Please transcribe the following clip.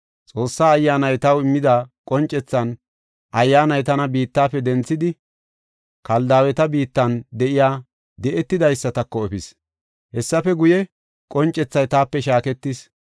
Xoossaa Ayyaanay taw immida qoncethan Ayyaanay tana biittafe denthidi, Kaldaaweta biittan de7iya di7etidaysatako efis. Hessafe guye, qoncethay taape shaaketis.